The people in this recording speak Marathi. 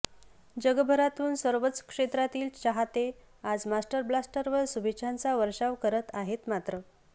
जगभरातून सर्वच क्षेत्रातील चाहते आज मास्टर ब्लास्टरवर शुभेच्छांचा वर्षाव करत आहेत मात्र